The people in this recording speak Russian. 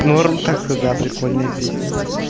норм так-то да прикольная песня